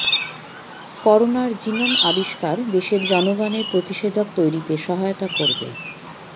করোনার জিনোম আবিষ্কার দেশের জনগণের প্রতিষেধক তৈরিতে সহায়তা করবে